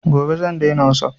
Gobe zan daina wasup